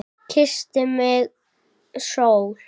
Kyssti mig sól.